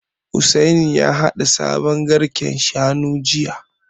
Hussaini ya haɗa sabon garken Shanu jiya